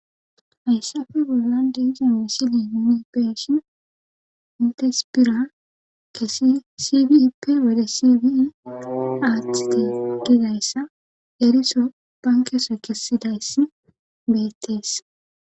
hayssafe bollan diizon wesili nuni peshin intespira kesi sifiipe wode siii aaththiti gidayssa eriso bankese kessidayss beyettees